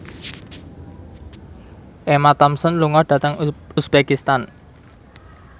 Emma Thompson lunga dhateng uzbekistan